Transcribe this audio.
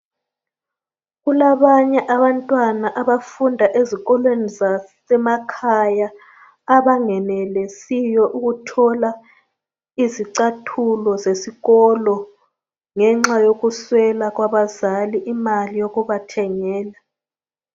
Kulabanye abantwana abafunda ezikolweni zasemakhaya abangenelisiyo ukuthola izicathulo zesikolo ngenxa yokuswelwa kwabazali imali yokubathengela.